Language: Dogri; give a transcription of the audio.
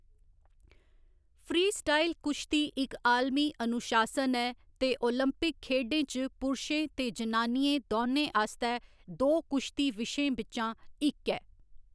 फ्रीस्टाइल कुश्ती इक आलमी अनुशासन ऐ ते ओलंपिक खेढें च पुरशें ते जनानियें दौनें आस्तै दो कुश्ती विशें बिच्चा इक ऐ।